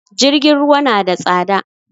Jirgin ruwa na da tsada